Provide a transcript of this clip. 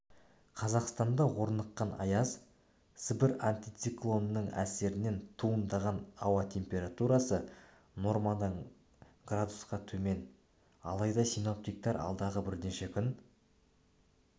қазақстанда орныққан аяз сібір антициклонының әсерінен туындаған ауа теспературасы нормадан градусқатөмен алайда синоптиктер алдағы бірнеше күн